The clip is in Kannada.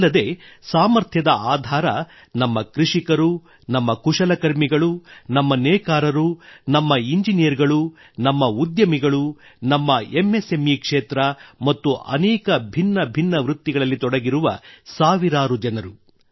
ಅಲ್ಲದೆ ಸಾಮರ್ಥ್ಯದ ಆಧಾರ ನಮ್ಮ ಕೃಷಿಕರು ನಮ್ಮ ಕುಶಲಕರ್ಮಿಗಳು ನಮ್ಮ ನೇಕಾರರು ನಮ್ಮ ಇಂಜಿನಿಯರುಗಳು ನಮ್ಮ ಉದ್ಯಮಿಗಳು ನಮ್ಮ ಎಂ ಎಸ್ ಎಂ ಇ ಕ್ಷೇತ್ರ ಮತ್ತು ಅನೇಕ ಭಿನ್ನ ಭಿನ್ನ ವೃತ್ತಿಗಳಲ್ಲಿ ತೊಡಗಿರುವ ಸಾವಿರಾರು ಜನರು